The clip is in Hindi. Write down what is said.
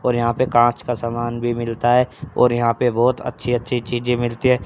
और यहां पे कांच का सामान भी मिलता हैं और यहां पे बहोत अच्छी अच्छी चीजें मिलती है।